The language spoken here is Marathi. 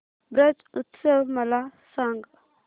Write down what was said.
ब्रज उत्सव मला सांग